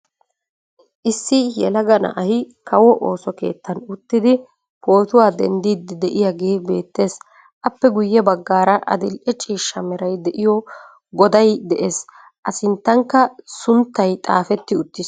Issi yelaga na'ay kawo ooso keettan uttidi pootuwaa denddiidi de'iyaagee beettees. appe guyye baggaara adil"e ciishsha meray de'iyoo goday de'ees. a sinttankka sunttay xaafetti uttiis.